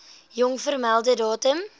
jongste vermelde datum